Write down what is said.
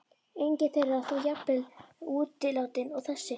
Engin þeirra þó jafn vel útilátin og þessi.